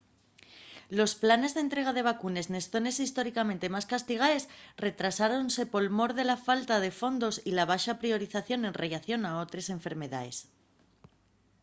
los planes d’entrega de vacunes nes zones históricamente más castigaes retrasáronse por mor de la falta de fondos y la baxa priorización en rellación a otres enfermedaes